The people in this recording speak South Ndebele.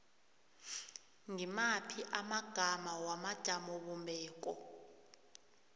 ngimaphi amagama wamajamobumbeko